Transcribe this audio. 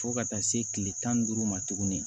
Fo ka taa se kile tan ni duuru ma tuguni